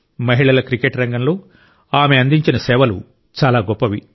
మహిళల క్రికెట్ రంగంలో ఆమె అందించిన సేవలు చాలా గొప్పవి